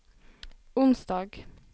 onsdag